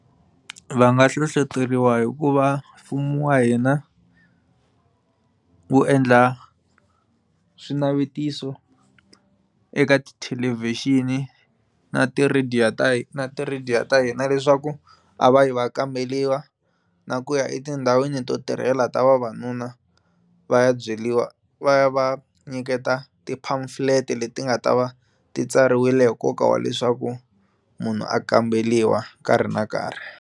Va nga hlohloteriwa hikuva mfumo wa hina wu endla swinavetiso eka tithelevhixini na ti radio ta hina na ti radio ta hina leswaku a va yi va kamberiwa na ku ya etindhawini to tirhela ta vavanuna va ya byeriwa va ya va nyiketa ti pamphlet leti nga ta va ti tsariwile hi nkoka wa leswaku munhu a kamberiwa nkarhi na nkarhi.